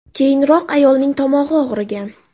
Keyinroq ayolning tomog‘i og‘rigan.